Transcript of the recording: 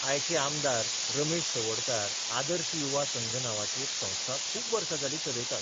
आयचे आमदार रमेश तवडकार आदर्श युवा संघ नांवाची एक संस्था खूब वर्सा जालीं चलयतात.